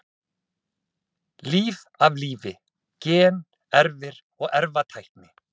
Líf af lífi: Gen, erfðir og erfðatækni.